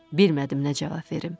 Bilmədim nə cavab verim.